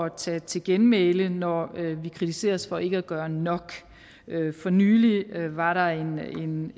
at tage til genmæle når vi vi kritiseres for ikke at gøre nok for nylig var der en en